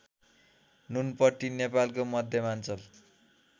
ननुपट्टी नेपालको मध्यमाञ्चल